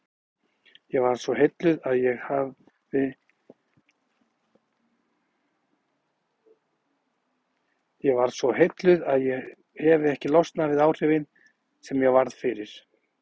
Ég varð svo heilluð að ég hefi ekki losnað við áhrifin sem ég varð fyrir.